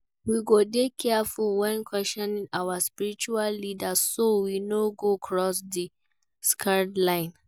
We go dey careful when questioning our spiritual leaders, so we no go cross di sacred lines.